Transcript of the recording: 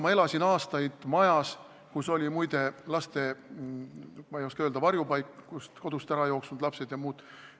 Ma elasin aastaid majas, kus oli laste varjupaik, kus elasid kodust ärajooksnud ja teised lapsed.